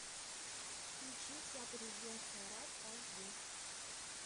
включи вся президентская рать аш ди